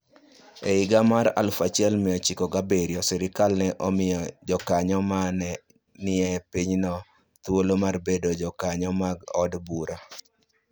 E higa mar 1907, sirkal ne omiyo jokanyo ma ne nie pinyno thuolo mar bedo jokanyo mag od bura.